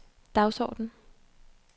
dagsorden